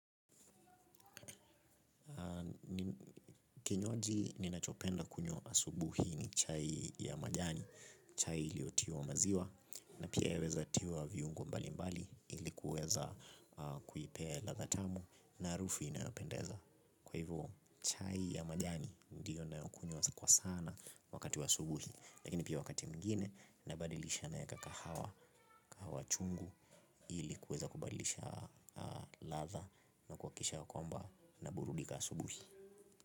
Kinywaji ninachopenda kunywa asubuhi ni chai ya majani. Chai iliyotiwa maziwa na pia yaweza tiwa viungo mbalimbali ili kuweza kuipea ladha tamu na harufu inayopendeza kwa hivyo chai ya majani ndiyo ninayokunywa kwa sana wakati wa asubuhi lakini pia wakati mwingine nabadilisha naweka kahawa kahawa chungu. Ili kuweza kubadilisha ladha na kuhakikisha ya kwamba naburudika asubuhi.